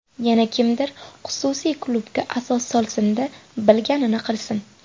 Yana kimdir xususiy klubga asos solsin-da, bilganini qilsin.